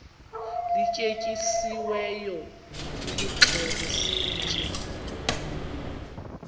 lityetyisiweyo nilixhele sitye